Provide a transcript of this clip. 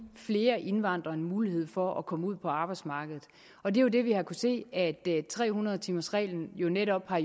flere indvandrere en mulighed for at komme ud på arbejdsmarkedet og det er jo det vi har se at tre hundrede timers reglen netop har